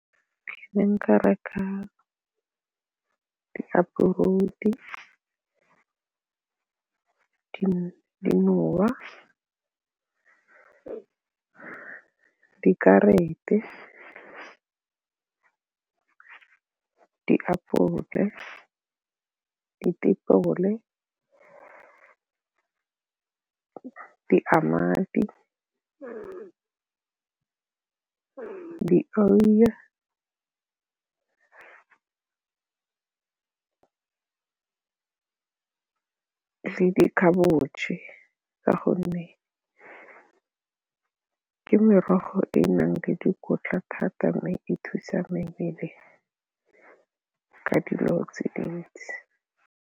Ke ne nka reka diapole, ditapole ka gonne ke merogo e e nang le dikotla thata e thusa mebele ka dilo tse dintsi.